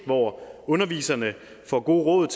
hvor underviserne får gode